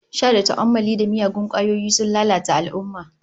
Sha da tu'ammali da miyagun kwayoyi sun lalata al'ummah